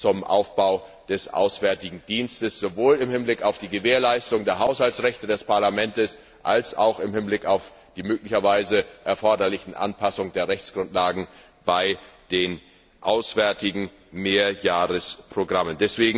zum Aufbau des auswärtigen Dienstes sowohl im Hinblick auf die Gewährleistung der Haushaltsrechte des Parlaments als auch im Hinblick auf die möglicherweise erforderlichen Anpassungen der Rechtsgrundlagen bei den auswärtigen Mehrjahresprogrammen.